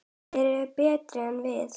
Þeir eru betri en við.